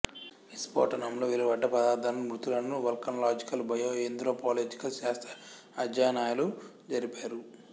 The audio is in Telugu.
విస్ఫోటనంలో వెలువడ్డ పదార్థాలను మృతులనూ వల్కనలాజికల్ బయో ఏంత్రొపోలాజికల్ శాస్త్ర అధ్యయనాలు జరిపారు